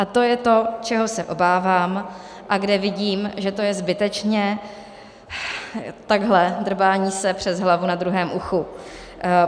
A to je to, čeho se obávám a kde vidím, že to je zbytečně takhle drbání se přes hlavu na druhém uchu.